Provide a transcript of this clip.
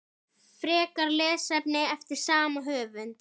Frekara lesefni eftir sama höfund